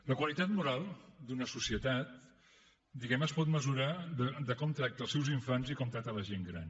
la qualitat moral d’una societat diguemne es pot mesurar per com tracta els seus infants i com tracta la gent gran